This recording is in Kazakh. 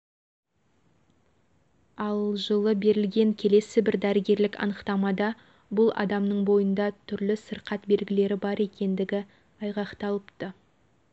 ал жылы берілген келесі бір дәрігерлік анықтамада бұл адамның бойында түрлі сырқат белгілері бар екендігі айғақталыпты